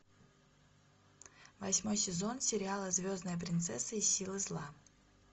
восьмой сезон сериала звездная принцесса и силы зла